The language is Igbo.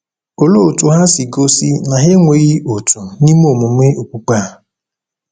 Olee otú ha si gosi na ha enweghị òtù n’ime emume okpukpe a?